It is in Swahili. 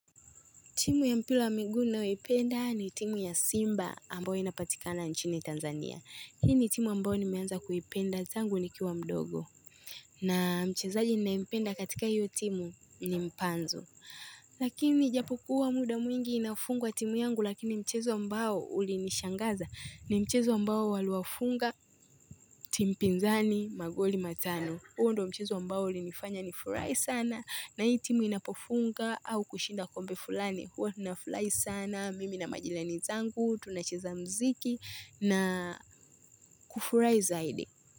Timu ya mpila ya miguu ninayoipenda ni timu ya Simba ambayo inapatikana nchini Tanzania. Hii ni timu ambayo nimeanza kuipenda tangu nikiwa mdogo. Na mchezaji ninayempenda katika hiyo timu ni mpanzu. Lakini japo kuwa muda mwingi inafungwa timu yangu lakini mchezo ambao ulinishangaza. Ni mchezo ambao waliwafunga timu pinzani magoli matano. Huo ndio mchezo ambao ulinifanya ni furahi sana na hii timu inapofunga au kushinda kombe fulani. Huwa nafurahi sana, mimi na majilani zangu, tunacheza mziki na kufurai zaidi.